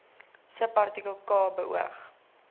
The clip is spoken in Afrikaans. subartikel k beoog